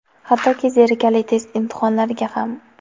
hattoki zerikarli test imtihonlariga ham.